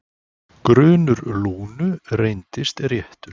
Grunur Lúnu reyndist réttur.